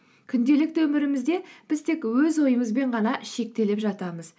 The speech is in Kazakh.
күнделікті өмірімізде біз тек өз ойымызбен ғана шектеліп жатамыз